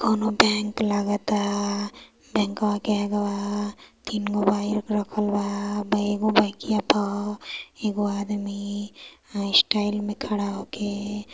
कोनों बैंक लागत ता बाइकवा के अगवा तीन को बाइक रखल बा उ बाइकवा पर एक को आदमी स्टाइल मे खड़ा होके --